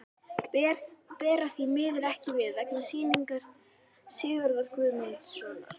Bera því miður ekki við, vegna sýningar Sigurðar Guðmundssonar.